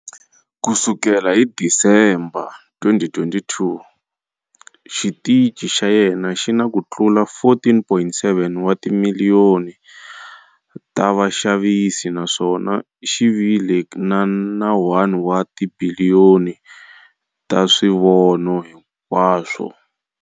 Ku sukela hi December 2022, xitichi xa yena xi na ku tlula 14.7 wa timiliyoni ta vaxavisi naswona xi vile na 1 wa tibiliyoni ta swivono hinkwaswo.